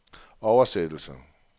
oversættelse